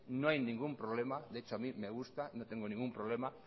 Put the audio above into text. no hay ningún problema de hecho a mí me gusta no tengo ningún problema